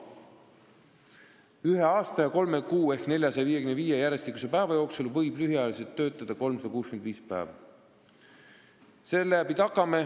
Ühe aasta ja kolme kuu ehk 455 järjestikuse päeva jooksul võib lühiajaliselt töötada 365 päeva.